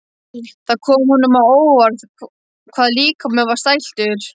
Það kom honum á óvart hvað líkaminn var stæltur.